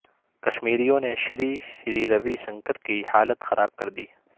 کشمیریوں نے شری شری روی شنکر کی حالت خراب کر دی